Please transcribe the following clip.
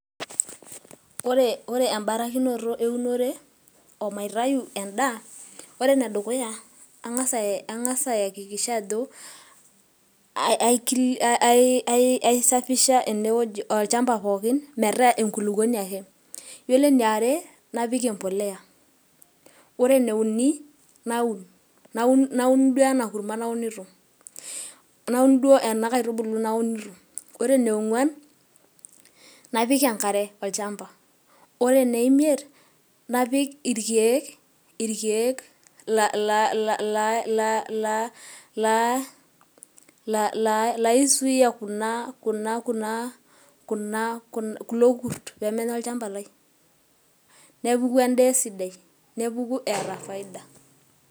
ore ebarakinoto eunore, omaitayu edaa, ore ene dukuya ang'as ayakikisha ajo, aisafisha ene wueji, olchampa pookin metaa enkulupuoni ake, iyiolo eniare napik empuliya, ore eneuni naun, duo ena kurma naunito, naun duo ena kaitubului naunito, ore ening'uan napik enkare olchampa. ore eneimiet napik irkeek, laisuuya kulo kurt pee menya olchampa lai.